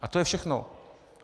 A to je všechno.